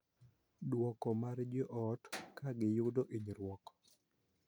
Dwoko mar jo ot ka giyudo hinyruok